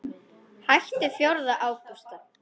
Hættum fjórða ágúst.